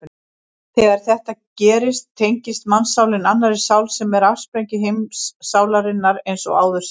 Þegar þetta gerist tengist mannssálin annarri sál sem er afsprengi heimssálarinnar eins og áður segir.